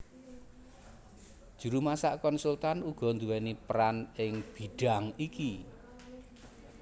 Juru masak konsultan uga nduwèni peran ing bidhang iki